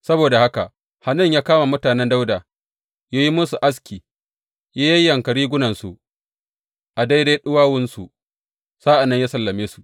Saboda haka Hanun ya kama mutanen Dawuda, ya yi musu aski, ya yayyanka rigunansu a daidai ɗuwawunsu, sa’an nan ya sallame su.